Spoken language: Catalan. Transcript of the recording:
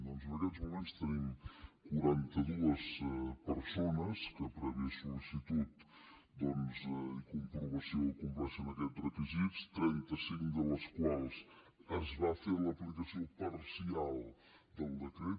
doncs en aquests moments tenim quaranta dues persones que prèvia sol·comprovació compleixen aquests requisits a trentacinc de les quals es va fer l’aplicació parcial del decret